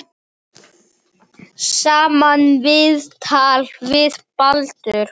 Sama viðtal við Baldur.